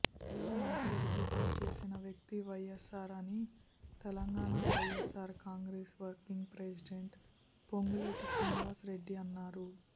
ప్రజల మనసెరిగి పనిచేసిన వ్యక్తి వైఎస్ఆర్ అని Telangana YSR Congress working president Ponguleti Srinivas Reddy అన్నారు